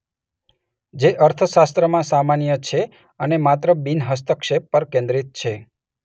જે અર્થશાસ્ત્રમાં સામાન્ય છે અને માત્ર બિન-હસ્તક્ષેપ પર કેન્દ્રિત છે.